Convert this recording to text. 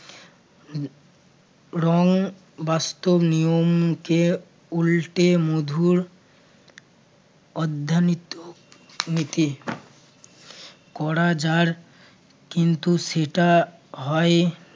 রং বাস্তব নিয়মকে উল্টে মধুর অদ্ধানিত~ নিতি। করা যার কিন্তু সেটা হয়